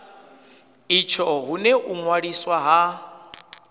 itsho hune u ṅwaliswa ha